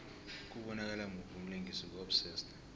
kubonakala muphi umlingisi ku obsessed